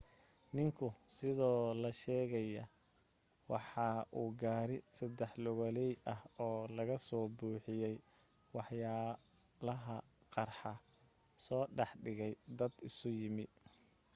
ninku sida la sheegayo waxa uu gaari saddex lugaley ah oo laga soo buuxiyay waxyaalaha qarxa soo dhex dhigay dad isu yimi